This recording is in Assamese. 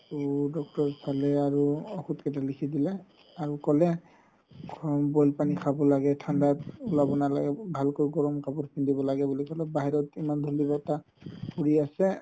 তৌ doctor চালে আৰু ঔষধ কেইটা লিখি দিলে আৰু ক'লে boil পানি খাব লাগে ঠাণ্ডা নালাগে ভালকৈ গৰম কাপোৰ পিন্ধিব লাগে বুলি ক'লে বাহিৰত ইমান ধুলি বতাহ ফুৰি আছে